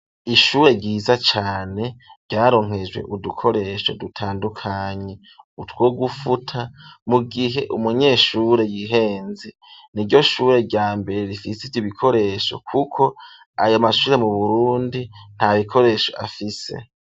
Ishure ryiza cane, ryaronkejwe udukoresho dutandukanye ,utwo gufuta mu gihe umunyeshure yihenze, ni ryo shure rya mbere rifise Ivyo bikoresho kuko ayo mashure mu burundi nta bikoresho afise.